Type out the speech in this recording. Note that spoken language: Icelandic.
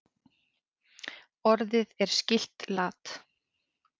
Orðið er skylt lat.